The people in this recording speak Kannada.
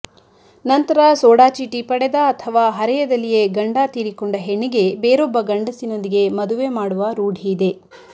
ನಂತರ ಸೋಡಚೀಟಿ ಪಡೆದ ಅಥವಾ ಹರೆಯದಲ್ಲಿಯೇ ಗಂಡ ತೀರಿಕೊಂಡ ಹೆಣ್ಣಿಗೆ ಬೇರೊಬ್ಬ ಗಂಡಸಿನೊಂದಿಗೆ ಮದುವೆ ಮಾಡುವ ರೂಢಿಯಿದೆ